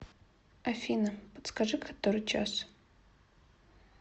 афина подскажи который час